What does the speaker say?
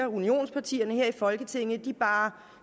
unionspartierne her i folketinget bare